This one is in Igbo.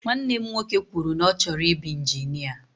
Nwanne m nwoke kwụrụ na ọ chọrọ ibu injinia.